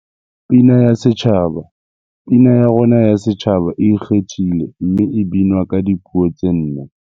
Pina ya Setjhaba Pina ya rona ya Setjhaba e ikgethile mme e binwa ka dipuo tse nne.